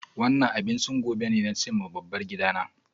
Wannan abinchin gobe ne, na ce ma dabbar gidana.